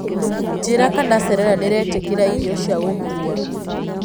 njĩĩra kana serena niraitikira ĩrĩo cĩa gũkũwa